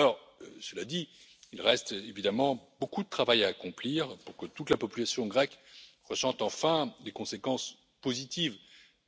Alors, cela dit, il reste évidemment beaucoup de travail à accomplir pour que toute la population grecque ressente enfin les conséquences positives